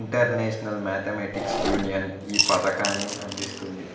international Mathematics Union ఈ పతకాన్ని అందిస్తుంది